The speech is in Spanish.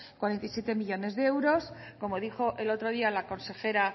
cuarenta y siete millónes de euros como dijo el otro día la consejera